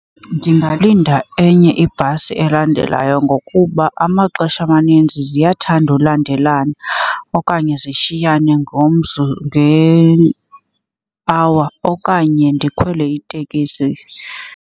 Ndingalinda enye ibhasi elandelayo ngokuba amaxesha amaninzi ziyathanda ulandelana okanye zishiyane nge-hour okanye ndikhwele itekisi.